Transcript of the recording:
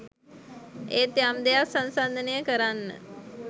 ඒත් යම් දෙයක් සන්සන්දනය කරන්න